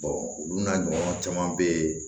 olu n'a ɲɔgɔnnaw caman bɛ yen